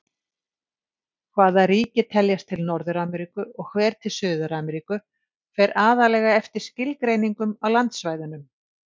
Hvaða ríki teljast til Norður-Ameríku og hver til Suður-Ameríku fer aðallega eftir skilgreiningum á landsvæðunum.